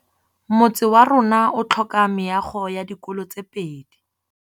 Motse warona o tlhoka meago ya dikolô tse pedi.